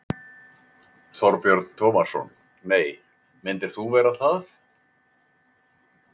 Þorbjörn Tómasson: Nei, myndir þú vera það?